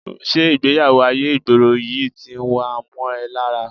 Ṣé ìgbé-ayé ìgboro yìí ti wá ń mọ́ ẹ lára?